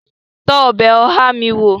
Tọ́ ọbẹ̀ oha mi wó!